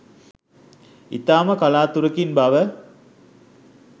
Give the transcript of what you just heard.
ඉතා ම කලාතුරකින් බව